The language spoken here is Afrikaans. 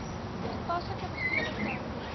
toepaslike bevele ten